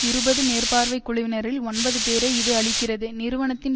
இருபது மேற்பார்வை குழுவினரில் ஒன்பது பேரை இது அளிக்கிறது நிறுவனத்தின்